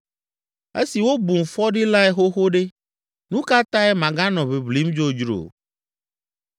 Esi wobum fɔɖilae xoxo ɖe, nu ka tae maganɔ ʋiʋlim dzodzro?